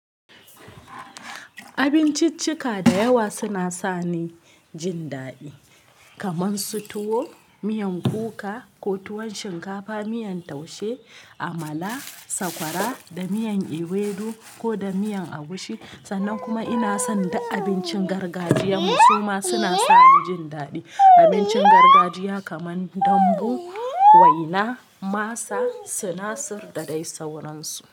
Abinciccika da yawa suna sa ni jin daɗi kamar su tuwo, miyan kuka ko tuwon shinkafa, miyan taushe, amala, sakwara, da miyan ewedu ko da miyan agushi. Sannan kuma ina son duk abincin gargajiya kuma suna sa ni jin daɗi. Abincin gargajiya kamar dambu, waina, masa sunasir da dai sauransu.